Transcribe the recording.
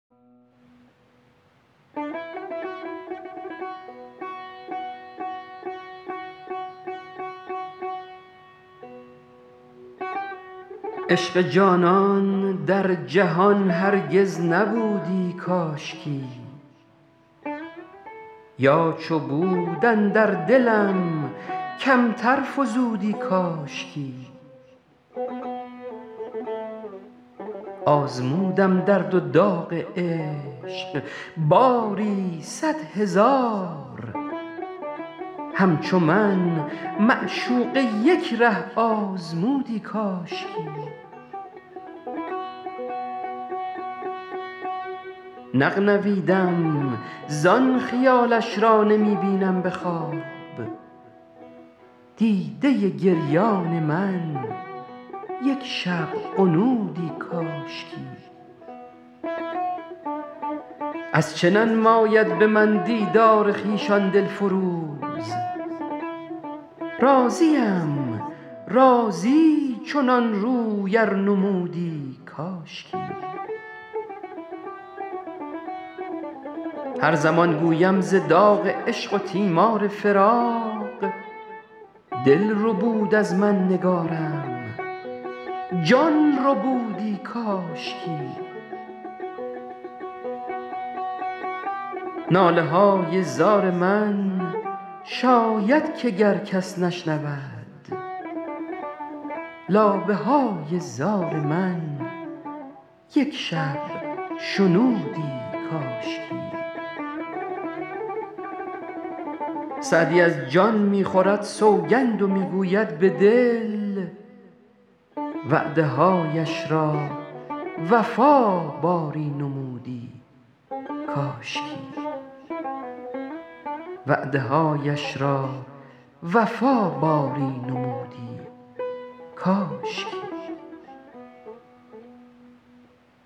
عشق جانان در جهان هرگز نبودی کاشکی یا چو بود اندر دلم کمتر فزودی کاشکی آزمودم درد و داغ عشق باری صد هزار همچو من معشوقه یک ره آزمودی کاشکی نغنویدم زان خیالش را نمی بینم به خواب دیده گریان من یک شب غنودی کاشکی از چه ننماید به من دیدار خویش آن دل فروز راضیم راضی چنان روی ار نمودی کاشکی هر زمان گویم ز داغ عشق و تیمار فراق دل ربود از من نگارم جان ربودی کاشکی ناله های زار من شاید که گر کس نشنود لابه های زار من یک شب شنودی کاشکی سعدی از جان می خورد سوگند و می گوید به دل وعده هایش را وفا باری نمودی کاشکی